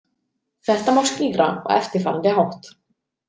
Þetta má skýra á eftirfarandi hátt.